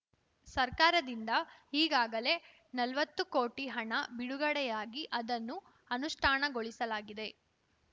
ಸರ್ಕಾರದಿಂದ ಈಗಾಗಲೇ ನಲ್ವತ್ತು ಕೋಟಿಹಣ ಬಿಡುಗಡೆಯಾಗಿ ಅದನ್ನು ಅನುಷ್ಠಾನಗೊಳಿಸಲಾಗಿದೆ